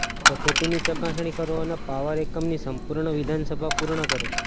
પદ્ધતિની ચકાસણી કરો અને પાવર એકમની સંપૂર્ણ વિધાનસભા પૂર્ણ કરો